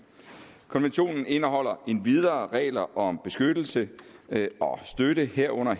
konventionen indeholder endvidere regler om beskyttelse og støtte herunder